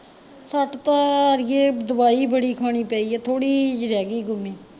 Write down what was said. ਸੱਟ ਤਾਂ ਅੜੀਏ ਦਵਾਈ ਬੜੀ ਖਾਣੀ ਪਈ ਐ ਥੋੜੀ ਜਹੀ ਰਹਿਗਿ ਗੁਮਈ